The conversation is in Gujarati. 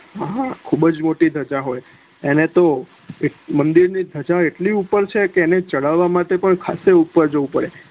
ખુબજ મોટી ધજા હોય એને તો મદિર ની ધજા એટલી ઉપર છે કે એને ચડવા માટે ખાસું ઉપર જવું પડે